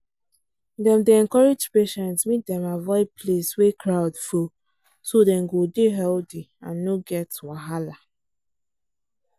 dem dey encourage patients make dem avoid place wey crowd full so dem go dey healthy and no get wahala